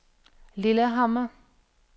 Lillehammer